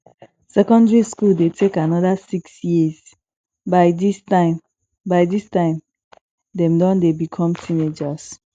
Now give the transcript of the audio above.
secondary school de take another six years by dis time by dis time dem don de become teenagers